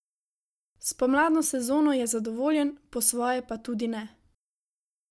S pomladno sezono je zadovoljen, po svoje pa tudi ne.